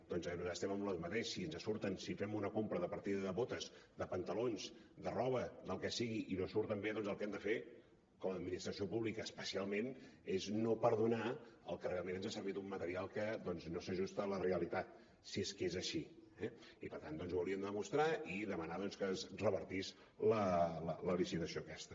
doncs nosaltres estem amb el mateix si fem una compra de partida de botes de pantalons de roba del que sigui i no surten bé el que hem de fer com a administració pública especialment és no perdonar el que realment ens ha servit un material que no s’ajusta a la realitat si és que és així eh i per tant doncs ho hauríem de demostrar i demanar que es revertís la licitació aquesta